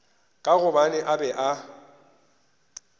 ka gobane a be a